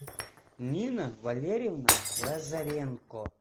нина валерьевна лазаренко